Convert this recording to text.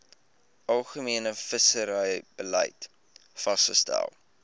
algemene visserybeleid vasgestel